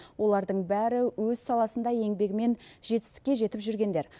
олардың бәрі өз саласында еңбегімен жетістікке жетіп жүргендер